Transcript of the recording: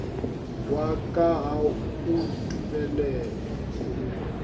wa ka ga o ntumelele